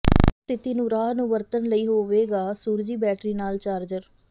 ਵਧੀਆ ਸਥਿਤੀ ਨੂੰ ਰਾਹ ਨੂੰ ਵਰਤਣ ਲਈ ਹੋਵੇਗਾ ਸੂਰਜੀ ਬੈਟਰੀ ਨਾਲ ਚਾਰਜਰ